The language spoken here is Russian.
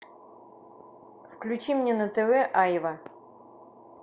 включи мне на тв аива